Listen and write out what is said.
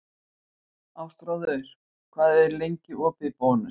Ástráður, hvað er lengi opið í Bónus?